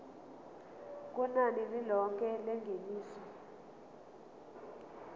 kunani lilonke lengeniso